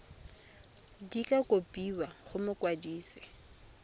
di ka kopiwa go mokwadise